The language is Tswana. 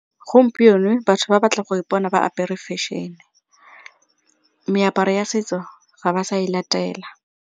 Gompieno batho ba batla go ipona ba apere fashion, meaparo ya setso ga ba sa e latela.